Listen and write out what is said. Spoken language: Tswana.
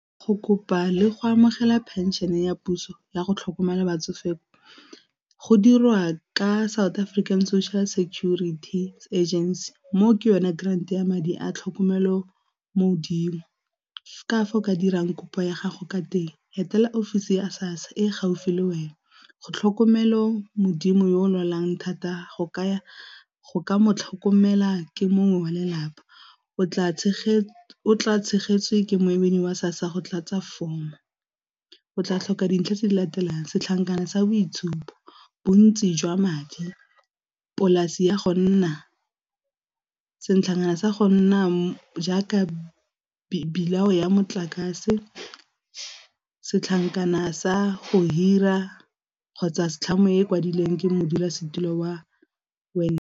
Go kopa le go amogela pension ya puso ya go tlhokomela batsofe ko go dirwa ka South African Social Security Agency mo ke yone grand ya madi a tlhokomelo mo 'dimo. Ka fa o ka dirang kopo ya gago ka teng etela ofisi ya SASSA e gaufi le wena go tlhokomelo modimo yo o lwalang thata go ka mo tlhokomela ke mongwe wa lelapa. O tla tshegetswe ke moemedi wa SASSA go tlatsa form-o, o tla tlhoka dintlha tse di latelang setlankana sa boitshupo, bontsi jwa madi, polase ya go nna, setlakana sa go nna jaaka bill ya motlakase, setlankana sa go hira kgotsa setlhangwa e kwadileng ke modulasetulo wa .